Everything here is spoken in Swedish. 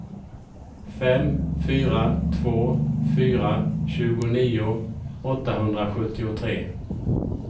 fem fyra två fyra tjugonio åttahundrasjuttiotre